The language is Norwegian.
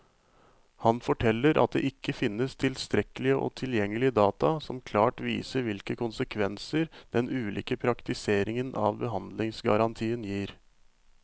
Han forteller at det ikke finnes tilstrekkelig og tilgjengelig data som klart viser hvilke konsekvenser den ulike praktiseringen av behandlingsgarantien gir.